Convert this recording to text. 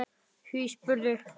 Hví spyrðu?